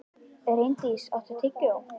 Reyndís, áttu tyggjó?